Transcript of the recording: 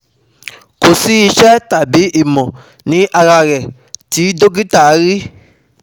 Ko si ìṣe tàbí ìmọ̀ ní ara rẹ̀ tí dokita rí